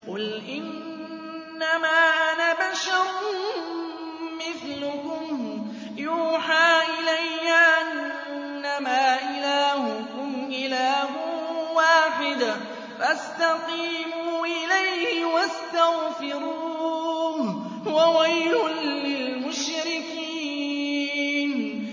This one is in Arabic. قُلْ إِنَّمَا أَنَا بَشَرٌ مِّثْلُكُمْ يُوحَىٰ إِلَيَّ أَنَّمَا إِلَٰهُكُمْ إِلَٰهٌ وَاحِدٌ فَاسْتَقِيمُوا إِلَيْهِ وَاسْتَغْفِرُوهُ ۗ وَوَيْلٌ لِّلْمُشْرِكِينَ